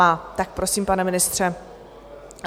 Má, tak prosím, pane ministře.